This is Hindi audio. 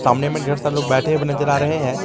सामने में ढेर सारा लोग बैठे हुए नजर आ रहे हैं।